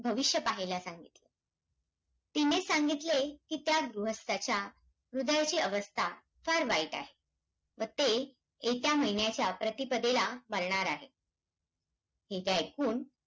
भविष्य पाहायला सांगितले. तिने सांगितले कि, त्या गृहस्थाच्या हृदयाची अवस्था फार वाईट आहे. व ते येत्या महिन्याच्या प्रतिपदेला, मरणार आहे. हे ऐकुन,